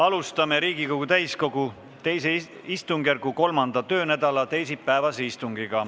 Alustame Riigikogu täiskogu II istungjärgu 3. töönädala teisipäevast istungit.